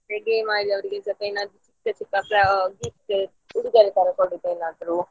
game ಅಲ್ಲಿ ಅವ್ರಿಗೆ ಸ್ವಲ್ಪ ಏನಾದ್ರು ಚಿಕ್ಕ ಚಿಕ್ಕ gift ಉಡುಗೊರೆ ತರ ಕೊಡುದು ಏನಾದ್ರೂ.